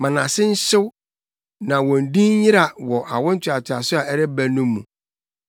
Ma nʼase nhyew, na wɔn din nyera wɔ awo ntoatoaso a ɛreba no mu.